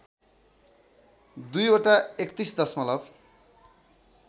दुईवटा ३१ दशमलव